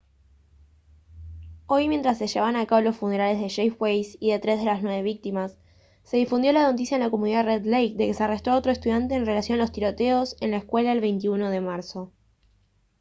hoy mientras se llevaban a cabo los funerales de jeff weise y de tres de las nueve víctimas se difundió la noticia en la comunidad de red lake de que se arrestó a otro estudiante en relación a los tiroteos en la escuela el 21 de marzo